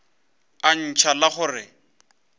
a ntšha la go re